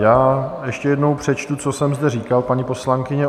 Já ještě jednou přečtu, co jsem zde říkal, paní poslankyně.